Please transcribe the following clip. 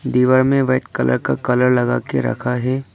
दीवार में white colour का कलर लगाके रखा है।